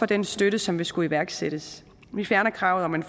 den støtte som skulle iværksættes vi fjerner kravet om en